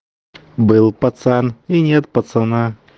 был пацан и нет пацана